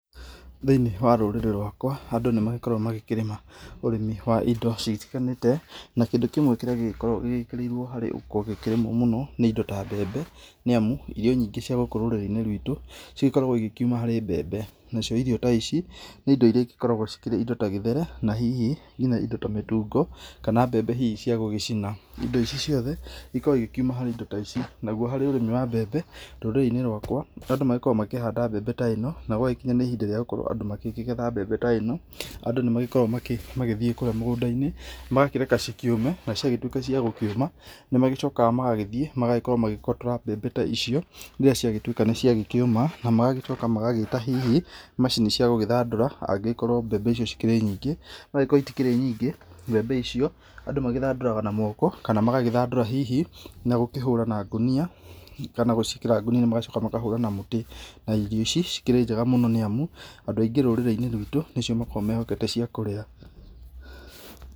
Thĩiniĩ wa rũrĩrĩ rwakwa, andũ nĩ magĩkoragwo magĩkĩrĩma ũrĩmi wa indo citiganĩte na kĩndũ kĩmwe kĩrĩa gĩkoragwo gĩkĩrĩirwo mũno, nĩ indo ta mbembe, nĩ amu irio nyingĩ cia gũkũ rũrĩrĩini rwitũ, cikoragwo ikĩuma harĩ mbembe. Nacio irio ta ici, nĩ indo iria ikoragwo ikĩrĩ indo ta gĩtheri, na hihi nginya indo ta mĩtungo, kana mbembe hihi cia gũgĩcina indo ici ciothe, ikoragwo ikiuma harĩ indo ta ici. Naguo harĩ ũrĩmi wa mbembe, rũrĩrĩ-inĩ rwakwa andũ magĩkoragwo makĩhanda mbembe ta ĩno, na gwagĩkinya nĩ ihinda rĩa gukorwo andũ makĩgetha mbembe ta ĩno, andũ nĩ makoragwo magĩthiĩ kũrĩa mũgũndainĩ magakĩreka cikĩũme, na ciagĩtuĩka cĩa gũkĩũma, nĩ magĩcokaga magagĩthiĩ magagĩkorwo, magagĩkorwo makĩgotora mbembe ta icio, iria ciagĩtuĩka nĩ ciagĩkĩũma, na magagĩcoka na magagĩcoka hihi macini cia gũgĩthandũra, na angĩkorwo ti nyingĩ andũ mathandũraga na moko, kana magathandũra na gũkĩhũra na ngũnia, kana gũciĩkĩra ngũnia magacoka makahũra na mũtĩ. Na irio ici, cikĩrĩ njega mũno nĩ amu, andũ aingĩ rũrĩrĩinĩ rwitũ nĩcio makoragwo mehokete cia kũrĩa.